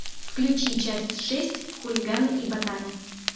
включи часть шесть хулиганы и ботаны